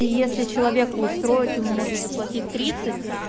и если человеку устроить ему можно заплатить тридцать